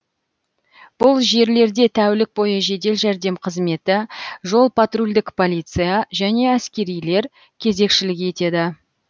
бұл жерлерде тәулік бойы жедел жәрдем қызметі жол патрульдік полиция және әскерилер кезекшілік етеді